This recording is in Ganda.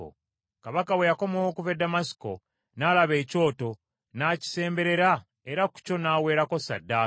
Kabaka bwe yakomawo okuva e Ddamasiko, n’alaba ekyoto, n’akisemberera era ku kyo n’aweerako ssaddaaka.